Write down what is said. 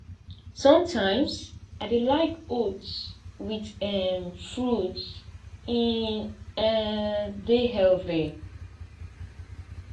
sometimes i dey like oats with um fruits e um dey healthy